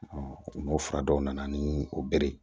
n'o fura dɔw nana ni o bere ye